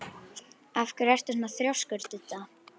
Af hverju ertu svona þrjóskur, Didda?